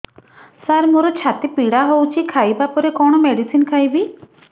ସାର ମୋର ଛାତି ପୀଡା ହଉଚି ଖାଇବା ପରେ କଣ ମେଡିସିନ ଖାଇବି